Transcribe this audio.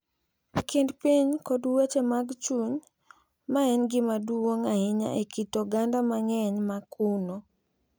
e kind piny kod weche mag chuny ma en gima duong’ ahinya e kit oganda mang’eny ma kuno.